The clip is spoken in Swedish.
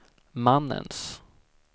mannens